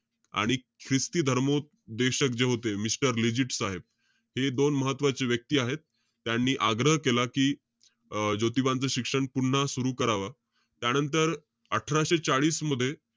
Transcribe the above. आणि ख्रिस्ती धर्मोपदेशक जे होते mister लिजिट साहेब, हे दोन महत्वाचे व्यक्ती आहेत. त्यांनी आग्रह केला कि अं ज्योतिबांचं शिक्षण पुन्हा सुरु करावं. त्यानंतर, अठराशे चाळीस मध्ये,